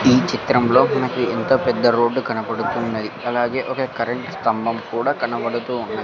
ఈ చిత్రంలో నాకు ఎంత పెద్ద రోడ్డు కనపడుతున్నది అలాగే ఒక కరెంట్ స్తంభం కూడా కనబడుతూ ఉన్నది.